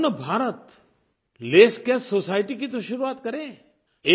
लेकिन क्यों न भारत लेसकैश सोसाइटी की तो शुरुआत करे